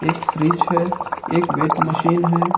एक फ्रिज है एक वेट मशीन है।